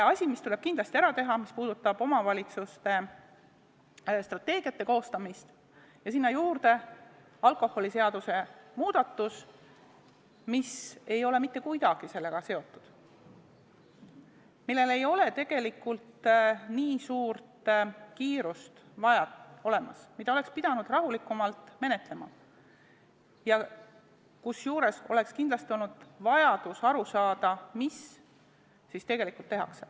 Üks asi tuleb kindlasti ära teha, see puudutab omavalitsuste strateegiate koostamist, ja sinna juurde tuli alkoholiseaduse muudatus, mis ei ole mitte kuidagi sellega seotud, millega ei ole nii kiire, mida oleks pidanud rahulikumalt menetlema, kusjuures oleks kindlasti olnud vaja aru saada, mida tegelikult tehakse.